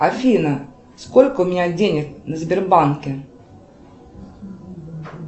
афина сколько у меня денег на сбербанке